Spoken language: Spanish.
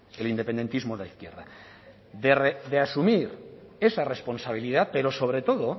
el independentismo de la izquierda de asumir esa responsabilidad pero sobre todo